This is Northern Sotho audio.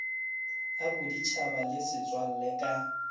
a boditšhaba le setswalle ka